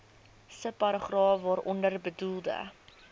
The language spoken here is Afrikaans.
subparagraaf waaronder bedoelde